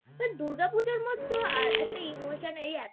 But দুর্গাপূজার মতো একটা Emotional